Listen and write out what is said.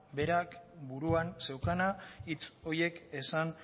berak buruan zeukana hitz horiek esan